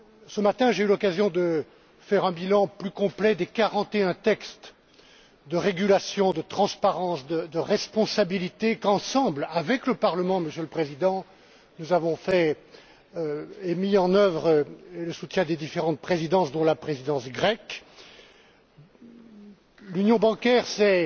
Ce matin, j'ai eu l'occasion de dresser un bilan plus complet des 41textes de régulation, de transparence et de responsabilité qu'ensemble, avec le Parlement, Monsieur le Président, nous avons élaboré et mis en œuvre, avec le soutien des différentes présidences, dont la présidence grecque. L'union bancaire, c'est